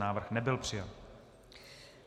Návrh nebyl přijat.